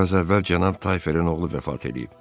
Biraz əvvəl Cənab Tayferin oğlu vəfat eləyib.